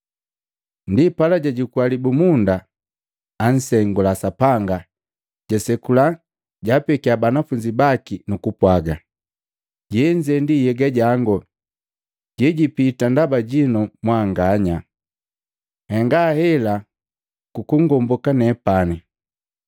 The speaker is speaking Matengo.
Ndipala jajukua libumunda, ansengula Sapanga, jasekula, jaapekia banafunzi baki nu kupwaga, “Jenze nhyega jango jejipita ndaba jinu mwanganya. Nhenga hela kungomboka nepani.”